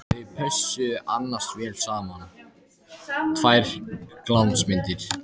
Þau pössuðu annars vel saman, tvær glansmyndir!